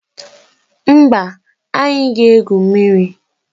Mba, anyị ga-egwu mmiri